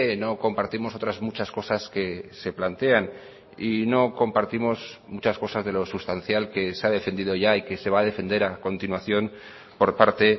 no compartimos otras muchas cosas que se plantean y no compartimos muchas cosas de lo sustancial que se ha defendido ya y que se va a defender a continuación por parte